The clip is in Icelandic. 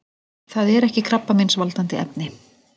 Það er ekki krabbameinsvaldandi efni.